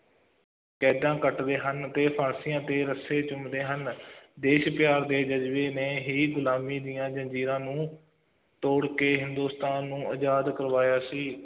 ਕੈਦਾਂ ਕੱਟਦੇ ਹਨ ਅਤੇ ਫਾਂਸੀਆਂ ਤੇ ਰੱਸੇ ਚੁੰਮਦੇ ਹਨ ਦੇਸ਼ ਪਿਆਰ ਦੇ ਜ਼ਜ਼ਬੇ ਨੇ ਹੀ ਗੁਲਾਮੀ ਦੀ ਜ਼ੰਜ਼ੀਰਾਂ ਨੂੰ ਤੋੜ ਕੇ, ਹਿੰਦੁਸਤਾਨ ਨੂੰ ਆਜ਼ਾਦ ਕਰਵਾਇਆ ਸੀ,